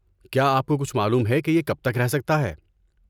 کیا آپ کو کچھ معلوم ہے کہ یہ کب تک رہ سکتا ہے؟